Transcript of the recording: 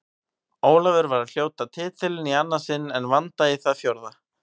Ólafur var að hljóta titilinn í annað sinn en Vanda í það fjórða.